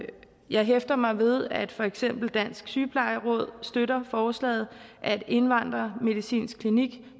jeg hæfter mig ved at for eksempel dansk sygeplejeråd støtter forslaget at indvandrermedicinsk klinik